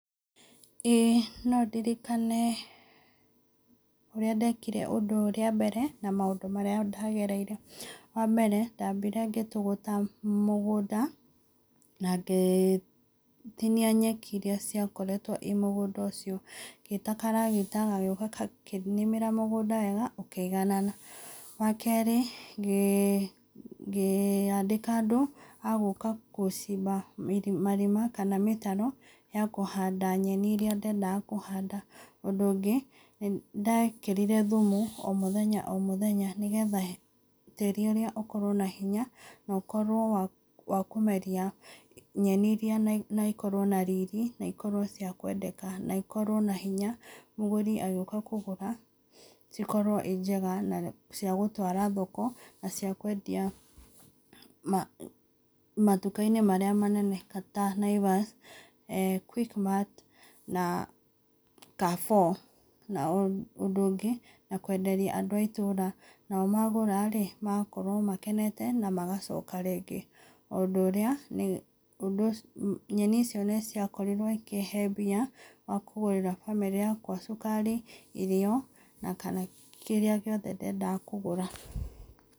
Ĩĩ no ndirikane ũrĩa ndekire ũndũ ũyũ rĩa mbere na maũndũ marĩa ndagereire. Wambere, ndambire ngĩtũgũta mũgũnda na ngĩtinia nyeki iria ciakoretwo i mũgũnda ũcio, ngĩta karagita gagĩũka gakĩnĩmĩra mũgũnda wega, ũkĩiganana. Wa kerĩ, ngĩandĩka andũ a gũka gũcimba marima kana mĩtaro ya kũhanda nyeni iria ndendaga kũhanda. Ũndũ ũngĩ, nĩndekĩrire thumu o mũthenya o mũthenya nĩgetha tĩĩri ũrĩa ũkorwo na hinya na ũkorwo wa kũmeria nyeni iria na ikorwo na riri, na ikorwo cia kwendeka, na ikorwo na hinya, mũgũri agĩũka kũgũra ikorwo i njega na cia gũtwara thoko na cia kwendia matuka-inĩ marĩa manene ta Naivas, Quickmart, na Carrefour. Na ũndũ ũngĩ, na kwenderia andũ a itũũra, nao magũra ĩ, magakorwo makenete na magacoka rĩngĩ. Ũndũ ũrĩa, ũndũ ũcio, nyeni icio nĩ ciakorirwo ikĩhe mbia ya kũgũrĩra bamĩrĩ yakwa cukari, irio, na kana kĩrĩa gĩothe ndendaga kũgũra.